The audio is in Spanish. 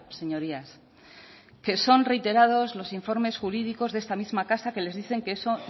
señorías que son reiterados los informes jurídicos de esta misma casa que les dicen que eso